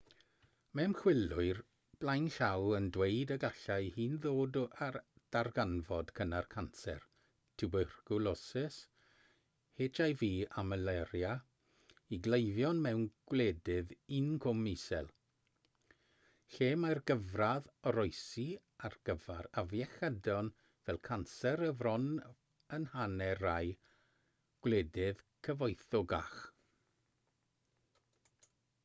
mae ymchwilwyr blaenllaw yn dweud y gallai hyn ddod â darganfod cynnar canser twbercwlosis hiv a malaria i gleifion mewn gwledydd incwm isel lle mae'r gyfradd oroesi ar gyfer afiechydon fel canser y fron yn hanner rhai gwledydd cyfoethocach